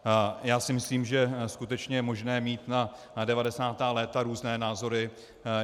Já si myslím, že skutečně je možné mít na 90. léta různé názory.